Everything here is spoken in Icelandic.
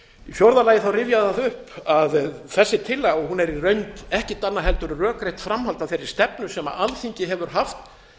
fjórða lagi rifja ég það upp að þessi tillaga er í raun ekkert annað en rökrétt framhald af þeirri stefnu sem alþingi hefur haft